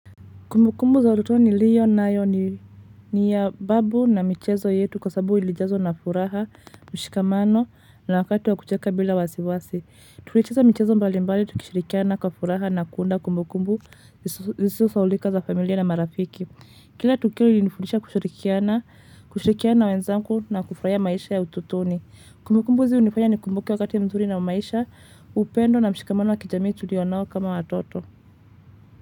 Kumbukumbu za ututoni niliyo nayo ni ya babu na michezo yetu kwa sababu ilijazwa na furaha, mshikamano na wakati wa kucheka bila wasi wasi. Tulicheza mchezo mbali mbali tukishirikiana kwa furaha na kuunda kumbukumbu ziso sahaulika za familia na marafiki. Kila tukio ilinifundisha kushirikiana na wenzangu na kufurahia maisha ya ututoni. Kumbukumbu hizi hunifanya ni kumbuke wakati mzuri na maisha, upendo na mshikamano wa kijamii tulio nao kama watoto.